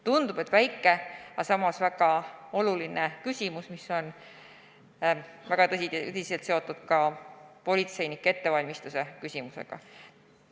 Tundub, et väike, aga samas väga oluline küsimus, mis on tihedasti seotud ka politseinike ettevalmistamise küsimusega.